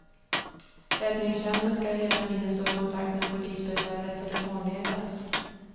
Räddningstjänsten skall hela tiden stå i kontakt med polisbefälet telefonledes.